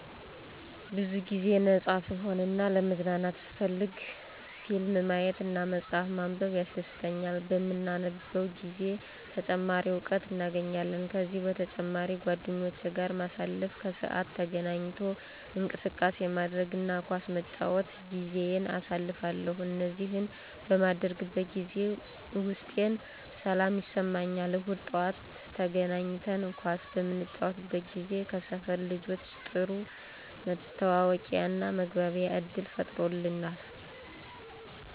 ብዙ ጊዜ ነፃ ስሆን እና ለመዝናናት ስፈልግ ፊልም ማየት እና መፅሐፍ ማንበብ ያስደሥተኛል። በምናነብ ጊዜ ተጨማሪ እውቀት እናገኛለን። ከዚህ በተጨማሪ ጓደኞቼ ጋር ማሳለፍ፣ ከሰዓት ተገናኝቶ እንቅስቃሴ ማድረግ እና ኳስ በመጫወት ጊዜየን አሳልፋለሁ። እነዚህን በማደርግበት ጊዜ ውስጤን ሰላም ይሰማኛል። እሁድ ጠዋት ተገናኝተን ኳስ በምንጫወት ጊዜ ከሰፈር ልጆች ጥሩ መተዋወቂያና መግባቢያ ዕድል ፈጥሮልናል።